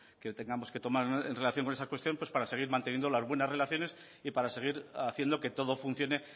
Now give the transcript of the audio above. que tengamos que tomar en relación con esa cuestión para seguir manteniendo las buenas relaciones y para seguir haciendo que todo funcione